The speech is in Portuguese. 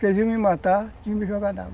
Que eles iam me matar e me jogar na água.